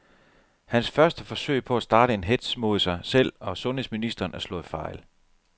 Hans første forsøg på at starte en hetz mod sig selv og sundheds ministeren er slået fejl.